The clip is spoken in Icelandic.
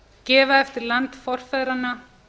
gefa eftir land forfeðranna